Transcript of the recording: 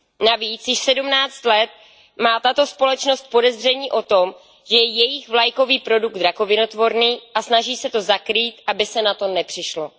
Navíc již 17 let má tato společnost podezření o tom, že je jejich vlajkový produkt rakovinotvorný, a snaží se to zakrýt, aby se na to nepřišlo.